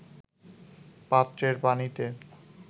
পাত্রের পানিতে